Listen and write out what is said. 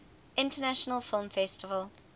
international film festival